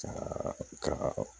Ka ka